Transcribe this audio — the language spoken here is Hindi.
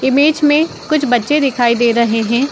इमेज में कुछ बच्चे दिखाई दे रहे हैं।